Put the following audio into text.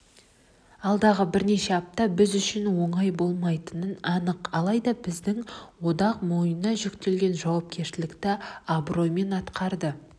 алдағы бірнеше апта біз үшін оңай болмайтыны анық алайда біздің одақ мойнына жүктелген жауапкершілікті абыроймен атқарады